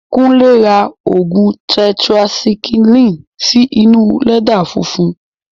Kúnlé ra ògùn tẹtirasaikílìnì sí inú lẹ́dà funfun